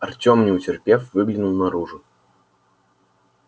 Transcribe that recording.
артём не утерпев выглянул наружу